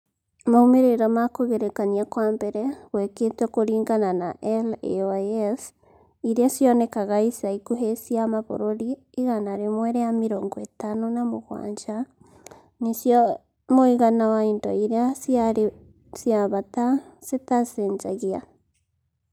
Maumĩrĩra ma kũgerekania kwa mbere gwekĩtwo kũringana na LAYS iria cionekaga ica ikuhĩ cia mabũrũri igana rĩmwe rĩa mĩrongo ĩtano na mũgwanja (mũigana wa indo iria ciarĩ cia bata citacenjagia).